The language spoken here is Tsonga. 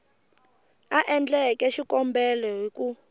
a endleke xikombelo hi ku